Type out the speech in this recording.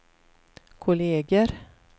kolleger